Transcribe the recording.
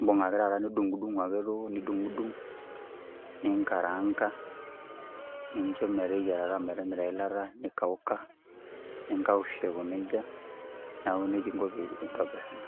ibung' taata nidung'dung ake duo nidung'dung, ninkaraanka, nincho meteyiarata metimita eilata nikauka, ninkaush aiko nejia, neeku nejia inko pee intobir ena.